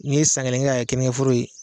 N'i ye san kelen kɛ k'a kɛ kennikeforo ye.